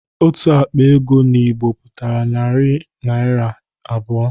Otu akpa ego n'Igbo pụtara naira narị abụọ